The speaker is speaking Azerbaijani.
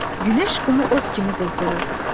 Günəş qumu od kimi qızdırırdı.